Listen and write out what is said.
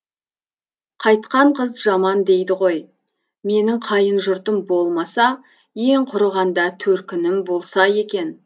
қайтқан қыз жаман дейді ғой менің қайын жұртым болмаса ең құрығанда төркінім болса екен